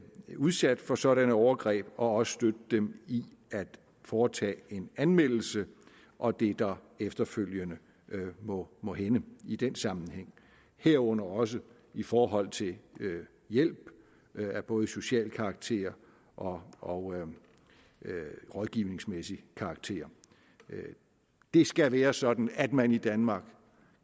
er udsat for sådanne overgreb og også støtte dem i at foretage en anmeldelse og det der efterfølgende må må hænde i den sammenhæng herunder også i forhold til hjælp af både social karakter og og rådgivningsmæssig karakter det skal være sådan at man i danmark